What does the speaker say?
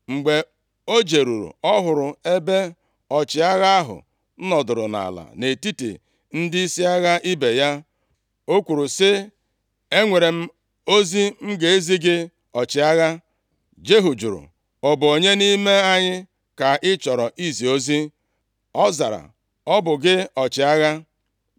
Mgbe o jeruru, ọ hụrụ ebe ọchịagha ahụ nọdụrụ nʼala nʼetiti ndịisi agha ibe ya. O kwuru sị, “Enwere m ozi m ga-ezi gị, ọchịagha.” Jehu jụrụ, “Ọ bụ onye nʼime anyị ka ị chọrọ izi ozi?” Ọ zara, “Ọ bụ gị ọchịagha.”